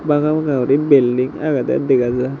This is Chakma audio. bangasanga guri building agedey dega jar.